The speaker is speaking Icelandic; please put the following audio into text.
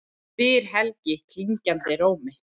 spyr Helgi klingjandi rómi.